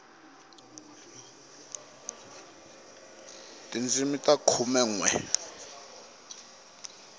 tindzimi ta khume nwe